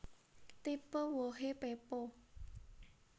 Tipe wohé pepo